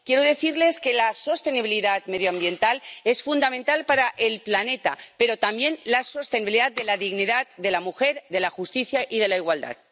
Quiero decirles que la sostenibilidad medioambiental es fundamental para el planeta, pero también la sostenibilidad de la dignidad de la mujer, de la justicia y de la igualdad.